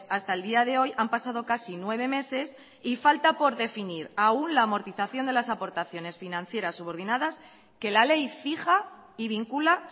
hasta el día de hoy han pasado casi nueve meses y falta por definir aún la amortización de las aportaciones financieras subordinadas que la ley fija y vincula